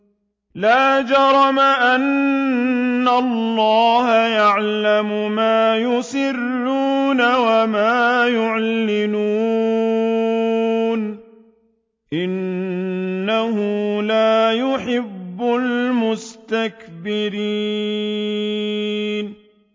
لَا جَرَمَ أَنَّ اللَّهَ يَعْلَمُ مَا يُسِرُّونَ وَمَا يُعْلِنُونَ ۚ إِنَّهُ لَا يُحِبُّ الْمُسْتَكْبِرِينَ